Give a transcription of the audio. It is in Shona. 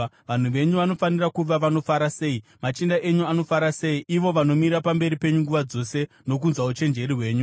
Vanhu venyu vanofanira kuva vanofara sei! Machinda enyu anofara sei, ivo vanomira pamberi penyu nguva dzose nokunzwa uchenjeri hwenyu!